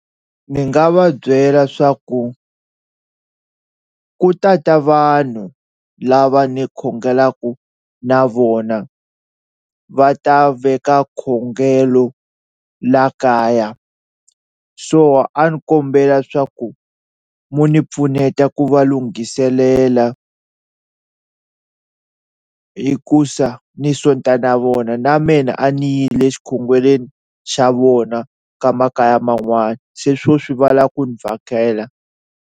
Ni nga va byela swa ku ku ta ta vanhu lava ni khongelaku na vona va ta veka khongelo la kaya so a ndzi kombela swa ku mo ni pfuneta ku va lunghiselela hikusa ni sonta na vona na mina a ni yile xikhongelweni xa vona ka makaya man'wani, se swo swi va lava ku ndzi vhakela.